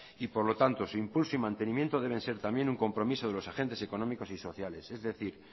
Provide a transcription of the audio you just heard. y por lo tanto su impulso y mantenimiento deben ser también un compromiso de los agentes económicos y sociales es decir